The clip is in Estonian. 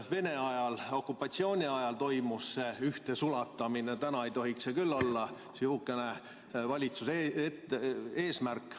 Vene ajal, okupatsiooni ajal toimus see ühtesulatamine, täna ei tohiks see küll olla valitsuse eesmärk.